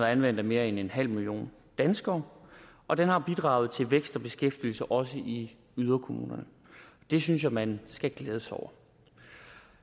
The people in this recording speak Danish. anvendt af mere end en halv million danskere og den har bidraget til vækst og beskæftigelse også i yderkommunerne det synes jeg man skal glæde sig over